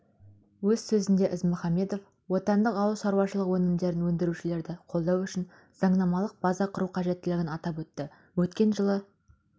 өз сөзінде ізмұхамбетов отандық ауыл шаруашылығы өнімдерін өндірушілерді қолдау үшін заңнамалық база құру қажеттілігін атап өтті өткен жылы